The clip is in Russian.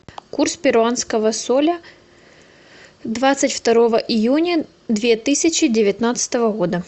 курс перуанского соля двадцать второго июня две тысячи девятнадцатого года